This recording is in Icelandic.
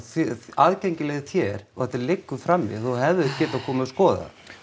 aðgengileg þér og þetta liggur frammi og þú hefðir getað komið og skoðað